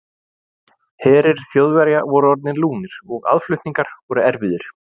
Herir Þjóðverja voru orðnir lúnir og aðflutningar voru erfiðir.